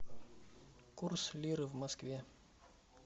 курс лиры в москве